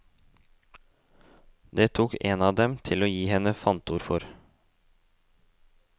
Det tok en av dem til å gi henne fantord for.